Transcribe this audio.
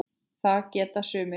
Það geta það sumir.